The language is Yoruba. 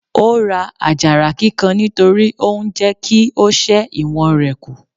Ó ra àjàrà kíkan nítorí ó ń jẹ́ kí ó ṣẹ́ ìwọ̀n rẹ̀ kù.